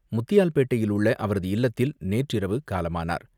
முத்தியால்பேட்டையில் உள்ள அவரது இல்லத்தில் நேற்றிரவு காலமானார்.